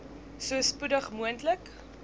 so spoedig moontlik